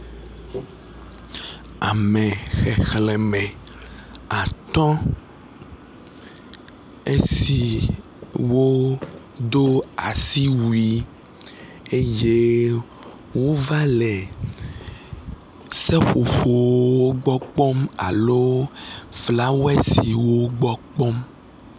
Ame xexleme atɔ esi wodo asiwui eye wova le seƒoƒowo gbɔ kpɔm alo flawesiwo gbɔ kpɔm.